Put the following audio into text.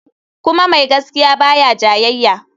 Kuma mai gaskiya ba ya jayayya.